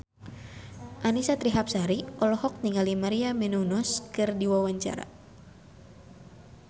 Annisa Trihapsari olohok ningali Maria Menounos keur diwawancara